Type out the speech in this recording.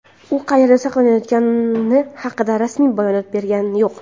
u qayerda saqlanayotgani haqida rasmiy bayonot bergani yo‘q.